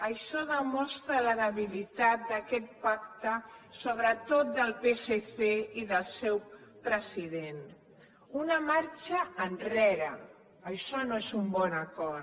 això demostra la debilitat d’aquest pacte sobretot del psc i del seu president una marxa enrere això no és un bon acord